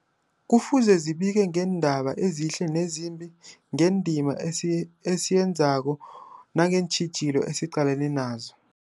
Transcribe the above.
Kufuze zibike ngeendaba ezihle nezimbi, ngendima esiy esiyenzako nangeentjhijilo esiqalene nazo.